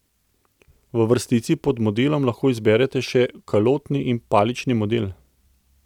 V vrstici pod modelom lahko izberete še kalotni in palični model.